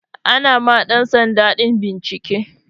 Ana ma ɗan sanda din bincike.